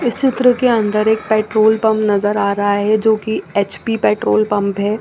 इस चित्र के अंदर एक पेट्रोल पंप नजर आ रहा है जो की एच_पी पेट्रोल पंप है।